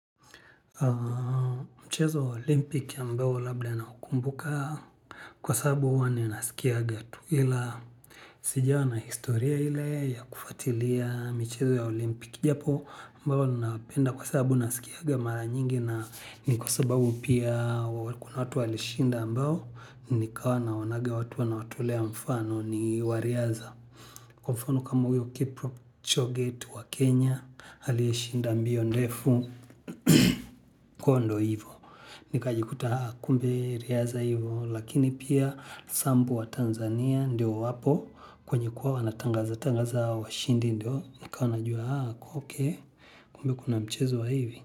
Mchezo ya olimpiki ambao labda naukumbuka kwa sababu huwa ninasikiaga tu ila. Sijaona historia ile ya kufuatilia michezo ya olimpiki japo ambao ninapenda kwa sababu nasikiaga mara nyingi na ni kwa sababu pia kuna watu walishinda ambao nikawa naonaga watu wanawatolea mfano ni wa riadha. Mfano kama huyo kiprochoge wetu wa kenya alishinda mbio ndefu kwa ndo hivyo nikajikuta haa kumbe riadha hivyo lakini pia sambu watanzania ndio wapo kwenye kuwa wanatangaza tangaza washindi ndio nikawa najua haa okey kumbe kuna mchezo wa hivi.